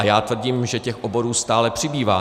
A já tvrdím, že těch oborů stále přibývá.